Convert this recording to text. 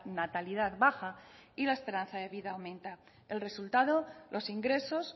natalidad baja y la esperanza de vida aumenta el resultado los ingresos